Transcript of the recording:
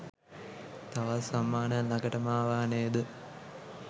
තවත් සම්මානයක් ළඟටම අවා නේද?